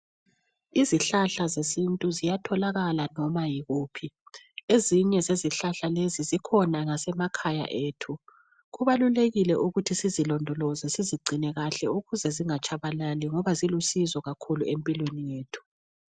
Izihlahla zesintu ziyatholakala noma yikuphi ezinye zezihlahla lezi zikhona ngasemakhaya ethu. Kubalulekile sizi londoloze sizigcine kahle ukuze zinga tshabalali ngoba zilusizo kakhulu empilweni yethu.